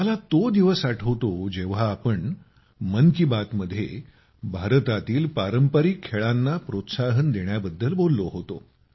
मला तो दिवस आठवतो जेव्हा आम्ही मन की बात मध्ये भारतातील पारंपारिक खेळांना प्रोत्साहन देण्याबाबत बोललो होतो